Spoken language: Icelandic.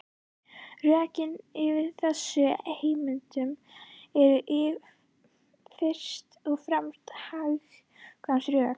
Rökin fyrir þessari heimild eru fyrst og fremst hagkvæmnisrök.